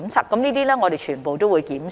凡此種種，我們全部也會檢視。